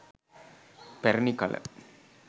පැරැණි කළ